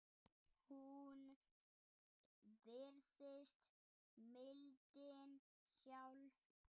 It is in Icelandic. Hún virðist mildin sjálf.